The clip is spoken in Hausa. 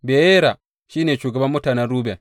Beyera shi ne shugaban mutanen Ruben.